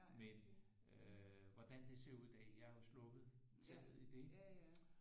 Men øh hvordan det ser ud i dag jeg har jo sluppet taget i det